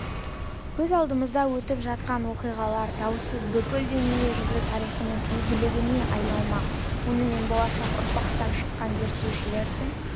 көз алдымызда өтіп жатқан оқиғалар даусыз бүкіл дүние жүзі тарихының игілігіне айналмақ онымен болашақ ұрпақтан шыққан зерттеушілер де